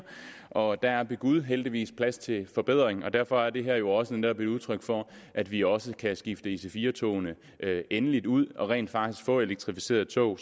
og der er ved gud heldigvis plads til forbedring og derfor er det her jo også netop et udtryk for at vi også kan skifte ic4 togene endeligt ud og rent faktisk få elektrificerede tog